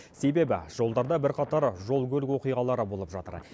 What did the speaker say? себебі жолдарда бірқатар жол көлік оқиғалары болып жатыр